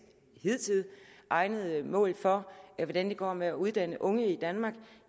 egnede mål for hvordan det går med at uddanne unge i danmark